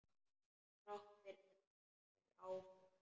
Þrátt fyrir áföll.